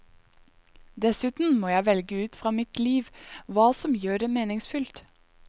Dessuten må jeg velge ut fra mitt liv, hva som gjør det meningsfylt.